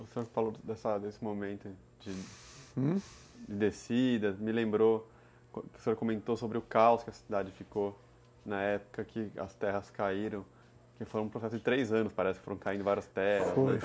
O senhor falou desse momento de, hum? de descida, me lembrou, o senhor comentou sobre o caos que a cidade ficou na época que as terras caíram, que foi um processo de três anos, parece, que foram caindo várias terras, foi